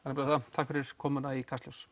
takk fyrir komuna í Kastljós